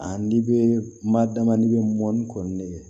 Ani bɛ ma damadɔɔni kɔni